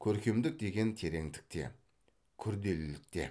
көркемдік деген тереңдікте күрделілікте